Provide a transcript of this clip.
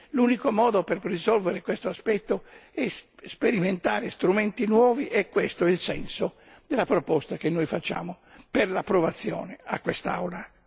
L'unico modo per risolvere questo aspetto è sperimentare strumenti nuovi e questo è il senso della proposta che noi facciamo per l'approvazione a quest'Aula.